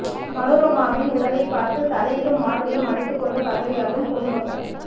மனோரமாவின் உடலைப் பார்த்து தலையிலும் மார்பிலும் அடித்துக் கொண்டு கதறி அழும் பொதுமக்கள்